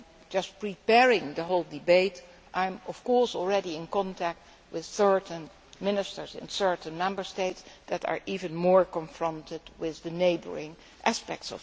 Just through preparing the whole debate, I am, of course, already in contact with certain ministers in certain Member States that are even more confronted with the neighbouring country aspects.